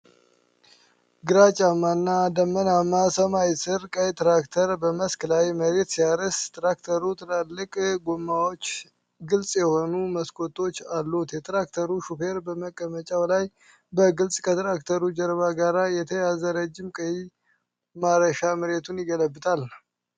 ግራጫማና ደመናማ ሰማይ ስር፣ ቀይ ትራክተር በመስክ ላይ መሬት ሲያርስ ትራክተሩ ትላልቅ ጥቁር ጎማዎችና ግልጽ የሆኑ መስኮቶች አሉት። የትራክተሩ ሾፌር በመቀመጫው ላይ በግልጽ ከትራክተሩ ጀርባ ጋር የተያያዘ ረጅም ቀይ ማረሻ መሬቱን ይገለብጣል።